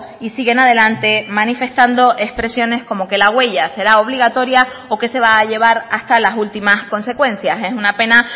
y siguen adelante manifestando expresiones como que la huella será obligatoria o que se va a llevar hasta las últimas consecuencias es una pena